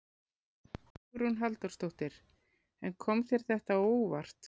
Hugrún Halldórsdóttir: En kom þér þetta á óvart?